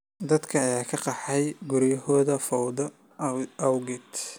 Dadka ayaa ka qaxay guryahoodii fowdada awgeed.